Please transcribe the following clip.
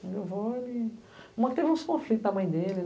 Onde eu vou ele. Uma que teve uns conflito com a mãe dele.